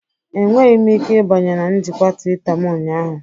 Enweghị m ike ịbanye na njikwa Twitter m ụnyaahụ